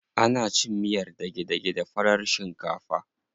Ana cin miyar dage-dage da farar shinkafa.